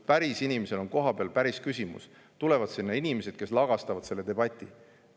Päris inimesel on kohapeal päris küsimus, aga siis tulevad sinna inimesed, kes lagastavad selle debati ära.